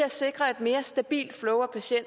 der